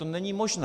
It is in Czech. To není možné.